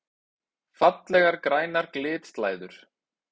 Fallegar grænar glitslæður!